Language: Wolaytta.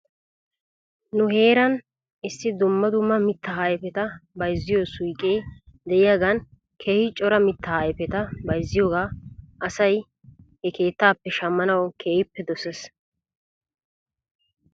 Nu heeran issi dumma dumma mittaa ayfeta bayzziyoo suyqee de'iyaagan keehi cora mittaa ayfeta bayzziyoogaa asay he keettaappe shammanaw keehippe doses.